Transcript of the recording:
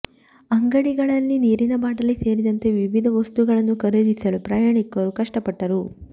ಅಂಗಡಿಗಳಲ್ಲಿ ನೀರಿನ ಬಾಟಲಿ ಸೇರಿದಂತೆ ವಿವಿಧ ವಸ್ತುಗಳನ್ನು ಖರೀದಿಸಲು ಪ್ರಯಾಣಿಕರು ಕಷ್ಟಪಟ್ಟರು